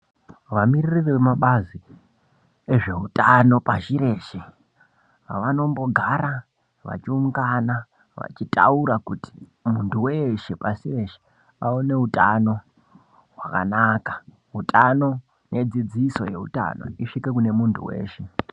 Vamiririri vemabazi ezveutano pashi reshe vanombogara vachiungana vachitaura kuti muntu weshe pashi reshe aone utano hwakanaka. Utano nedzidziso dzeutano isvike kune muntu weshe.